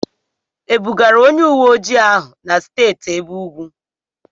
E bugara onye uwe ojii ahụ na Steeti ebe ugwu?